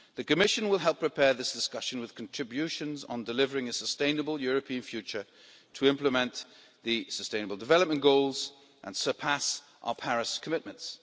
The Commission will help prepare this discussion with contributions on delivering a sustainable European future to implement the sustainable development goals and surpass our Paris commitments.